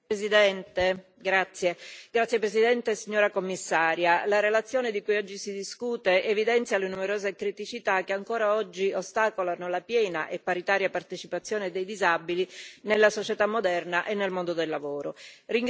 Signor Presidente, onorevoli colleghi, signora Commissario, la relazione di cui oggi si discute evidenzia le numerose criticità che ancora oggi ostacolano la piena e paritaria partecipazione dei disabili nella società moderna e nel mondo del lavoro.